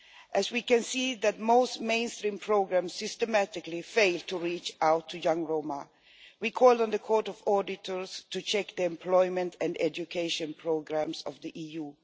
As we concede that most mainstream programmes systematically fail to reach out to young Roma, we call on the Court of Auditors to check the employment and education programmes of the EU.